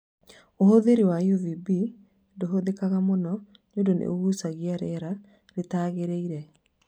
Ũtheri wa UVB ndũhũthĩkaga mũno nĩũndũ nĩ ũgucagia rĩera rĩtagĩrĩire